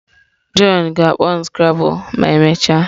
John ga-akpọ m scrabble ma emechaa.